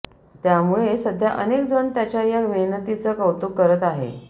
त्यामुळे सध्या अनेक जण त्याच्या या मेहनतीचं कौतूक करत आहे